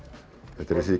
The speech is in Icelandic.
þetta er þessi